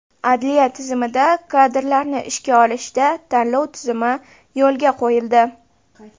Adliya tizimida kadrlarni ishga olishda tanlov tizimi yo‘lga qo‘yildi.